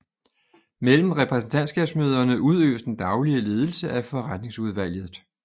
Mellem repræsentantskabsmøderne udøves den daglige ledelse af forretningsudvalget